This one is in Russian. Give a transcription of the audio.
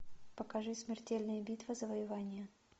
покажи смертельные битвы завоевания